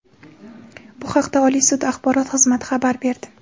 Bu haqda Oliy sud axborot xizmati xabar berdi .